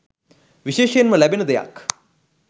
විශේෂයෙන්ම ලැබෙන දෙයක්